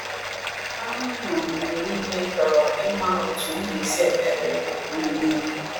A A na m mgbe niile chọrọ ịma otu m ga-esi ekpe ekpere maka unu niile.